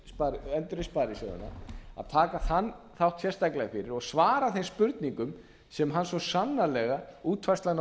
sparisjóðina endurreist sparisjóðina að taka þann þátt sérstaklega fyrir og svara þeim spurningum sem hann svo sannarlega útfærslan á